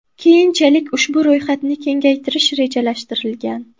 Keyinchalik ushbu ro‘yxatni kengaytirish rejalashtirilgan.